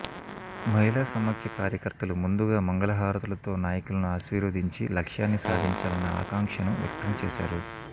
మహిళా సమాఖ్య కార్యకర్తలు ముందుగా మంగళహారతులతో నాయకులను ఆశీర్వదించి లక్ష్యాన్ని సాధించాలన్న ఆకాంక్షను వ్యక్తంచేశారు